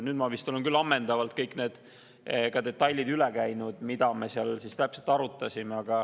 Nüüd ma vist olen küll ammendavalt üle käinud kõik detailid, mida me seal täpselt arutasime.